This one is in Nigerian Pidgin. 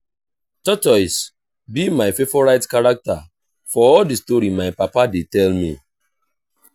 tortoise be my favourite character for all the story my papa dey tell me